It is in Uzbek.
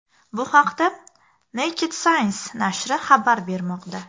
Bu haqda Naked Science nashri xabar bermoqda .